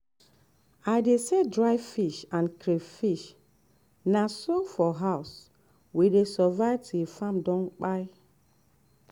i dey sell dry fish and crayfish na so we for house dey survive till farm don kpai.